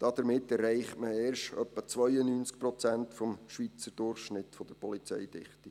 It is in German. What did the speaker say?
Damit erreicht man erst etwa 92 Prozent des Schweizer Durchschnitts der Polizeidichte.